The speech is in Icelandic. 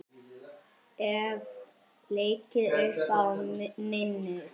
Hef leikið upp og niður.